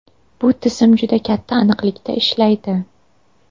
Bu tizim juda katta aniqlikda ishlaydi.